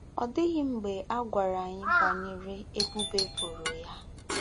Ọ dịghị mgbe a gwara anyị banyere ebubo e boro ya.